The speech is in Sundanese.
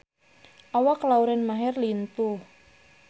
Awak Lauren Maher lintuh